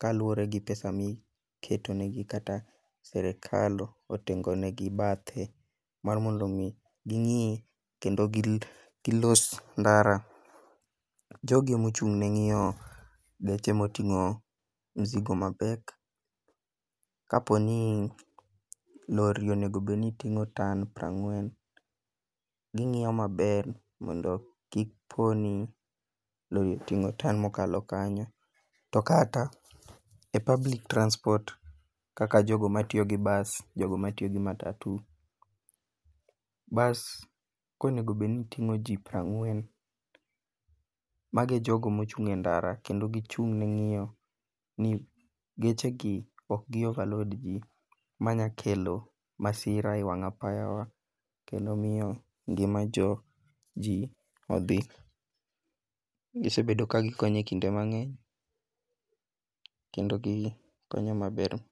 kaluwore gi pesa miketo negi kata sirikal otengon negi bathe mar mondo omi ging'i kendo gilos ndara. jogi emochung'ne ng'iyo geche moting'o mzigo mapek, kaponi lory onego obedni ting'o tonne mokalo kanyo, to kata e public transport kaka jogo matiyo gi bus jogo matiyo gi matatu, bus konego bedni ting'o ji prang'wen, mago e jogo mochung' e ndara kendo gichung' ne ng'iyo ni gechegi ok gi overload ji manyalo kelo masira e wang' apayawa, kendo miyo ngimaji odhi, gisebedo ka gikonyo e kinde mang'eny kendo gikonyo maber.